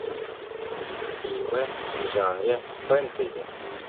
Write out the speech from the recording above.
фильмы в жанре фэнтези